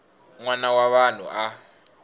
n wana wa vanhu a